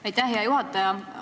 Aitäh, hea juhataja!